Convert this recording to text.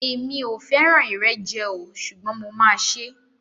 Èmi o fẹràn ìrẹjẹ o ṣugbọn mo ma ṣe.